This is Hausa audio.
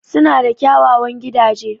Suna da kyawawan gidaje.